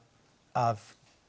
að